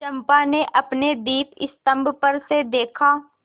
चंपा ने अपने दीपस्तंभ पर से देखा